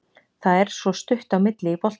Það er svo stutt á milli í boltanum.